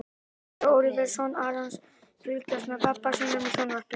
Þar má sjá Óliver, son Arons, fylgjast með pabba sínum í sjónvarpinu.